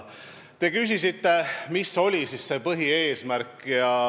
Te küsisite, mis oli põhieesmärk.